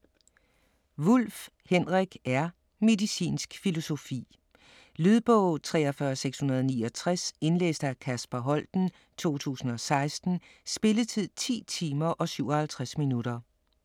Wulff, Henrik R.: Medicinsk filosofi Lydbog 43669 Indlæst af Kasper Holten, 2016. Spilletid: 10 timer, 57 minutter.